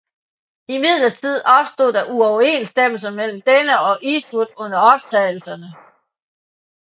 Imidlertid opstod der uoverensstemmelser mellem denne og Eastwood under optagelserne